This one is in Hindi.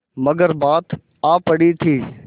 मगर बात आ पड़ी थी